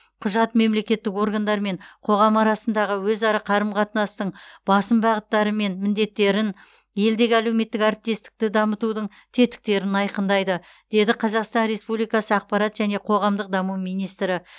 құжат мемлекеттік органдар мен қоғам арасындағы өзара қарым қатынастың басым бағыттары мен міндеттерін елдегі әлеуметтік әріптестікті дамытудың тетіктерін айқындайды деді қазақстан республикасы ақпарат және қоғамдық даму министрі